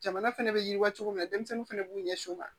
Jamana fɛnɛ bɛ yiriwa cogo min na denmisɛnninw fana b'u ɲɛsin u ma